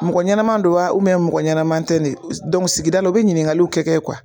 Mɔgɔ ɲanaman do wa mɔgɔ ɲanaman tɛ ne sigida la dɔ u bɛ ɲininkaliw kɛ